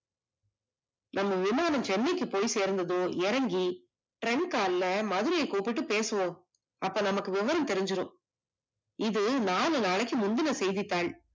நம்ம விமானம் சென்னைக்கு போய் சேர்ந்ததும் இறங்கி trunk call ல மதுரைய கூப்பிட்டுபேசுவோம், அப்ப நமக்கு விவரம் தெரிஞ்சுடும், இது நாலு நாள்ளுக்கு முந்துன செய்தித்தாள்